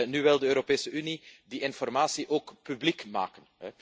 Nu wil de Europese Unie die informatie ook publiek maken.